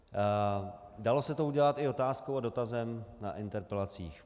Dalo se to udělat i otázkou a dotazem na interpelacích.